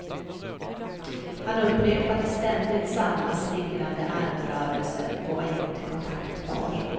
Han upprepade ständigt samma slingrande armrörelser och var inte kontaktbar.